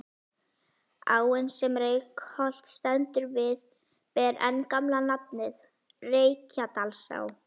Áin sem Reykholt stendur við ber enn gamla nafnið, Reykjadalsá.